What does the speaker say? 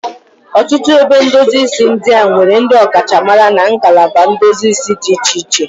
Ọtụtụ ebe ndosi isi ndị a nwere ndị ọkachamara na nagalaba ndosi isi dị iche iche.